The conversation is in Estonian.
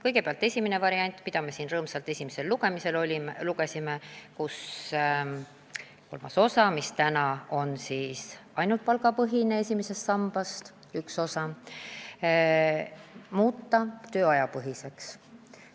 Kõigepealt esimene variant, mida me siin rõõmsalt esimesel lugemisel arutasime ja mille eesmärk oli muuta kolmas osa, mis praegu on ainult palgapõhine – esimesest sambast üks osa –, tööajapõhiseks.